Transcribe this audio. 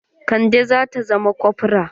Kande zata zama kofra.